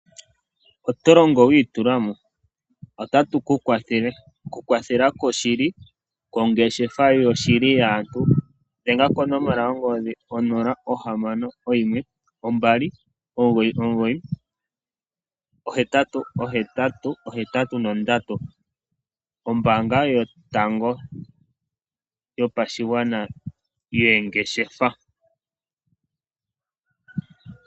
Oto longo wi itula mo? Otatu ku kwathele. Okukwathela kwoshili, kwongeshefa yoshili yaantu, dhenga konomola yongodhi 0612998883, ombaanga yotango yopashigwana yoongeshefa.